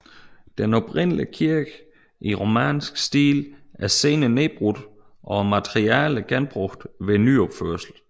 Den oprindelige kirke i romansk stil er senere nedbrudt og materialerne genbrugt ved nyopførelse